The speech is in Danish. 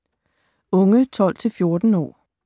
Unge 12-14 år